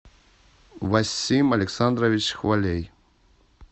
васим александрович хвалей